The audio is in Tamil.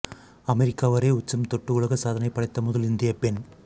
அமெரிக்கா வரை உச்சம் தொட்டு உலக சாதனை படைத்த முதல் இந்திய பெண்